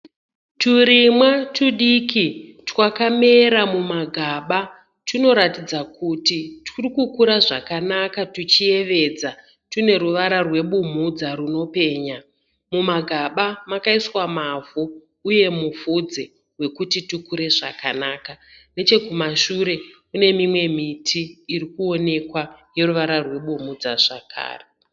Turima tudiki twakamera mumagamba . Tunoratidza kuti turikukura zvakanaka tuchiyevedza. tune ruvara rwebumhudza runopenya. Mumagamba makaiswa mavhu uye mufudze wekuti tukure zvakanaka. kumashure kunemiti irikuoneka ine ruvara rwebumhudza zvakare.